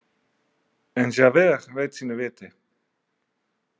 En Javert veit sínu viti.